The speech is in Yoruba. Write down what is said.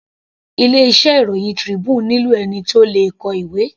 Ilé iṣẹ́ ìròhìn Tribune nílò ẹni tí ó le kọ ìwé.